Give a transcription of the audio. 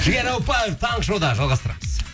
жігер ауыпбаев таңғы шоуда жалғастырамыз